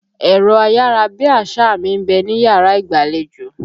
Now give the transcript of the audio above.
Ẹ̀rọ ayárabíàṣá mi ń bẹ níyàrá ìgbàlejò.